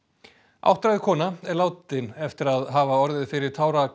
áttræð kona er látin eftir að hafa orðið fyrir